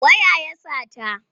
Waya ya sata.